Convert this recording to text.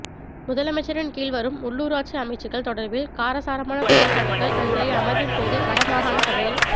முதலமைச்சரின் கீழ் வரும் உள்ளுராட்சி அமைச்சுக்கள் தொடர்பில் காரசாரமான குற்றச்சாட்டுக்கள் இன்றைய அமர்வின் போது வடமாகாண சபையில்